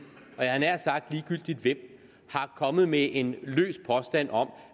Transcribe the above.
og jeg havde nær sagt ligegyldigt hvem er kommet med en løs påstand om